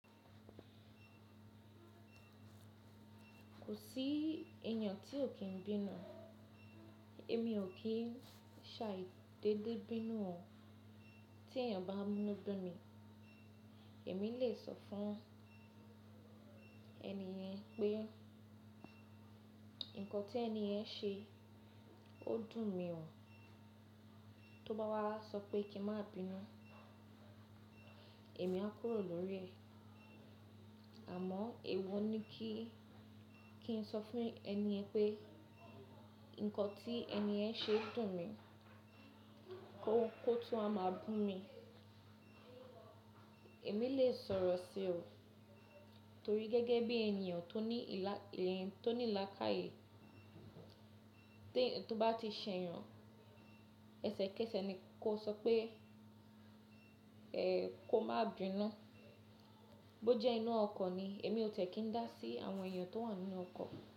Kò sí èèyàn tí ò kí n bínú. Èmi ò kí ń ṣàì dédé bínú o tí èèyàn bá mú nu bimi. Èmi lè sọ fún ẹni yẹn pé nǹkan tí ẹni yẹn ṣe, ó dùn mi o. Tó bá wá sọ pé kí n má bínú, èmi á kúrò lórí ẹ̀. Àmọ́ èwo ni kí kí n sọ fún ẹni yẹn pé nǹkan tí ẹni yẹn ṣe dùn mi, kó tun wa máa bu mi. Èmi lè sọ̀rọ̀ sí o, torí gẹ́gẹ́ bí èèyàn tó ní laàkàyè, tó bá ti ṣẹ̀yàn, ẹsẹ̀kẹsẹ̀ ni kó sọ pé ẹ kó má bínú. Bó jẹ́ inú ọkọ̀ ni, èmi ò ti e kí n dá sí àwọn èèyàn tó wà nínú ọkọ̀